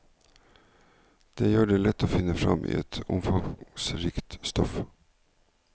Det gjør det lett å finne fram i et omfangsrikt stoff.